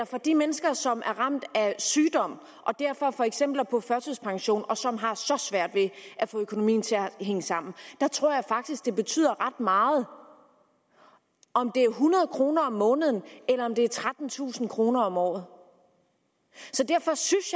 for de mennesker som er ramt af sygdom og derfor for eksempel er på førtidspension og som har så svært ved at få økonomien til at hænge sammen der tror jeg faktisk det betyder ret meget om det er hundrede kroner om måneden eller om det er trettentusind kroner om året så derfor synes